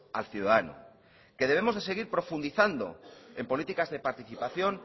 al ciudadano que debemos de seguir profundizando en políticas de participación